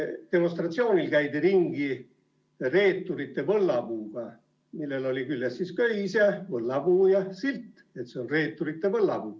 Demonstratsioonil käidi ringi reeturite võllapuuga, millel oli küljes köis ja võllapuu ja ka silt, et see on reeturite võllapuu.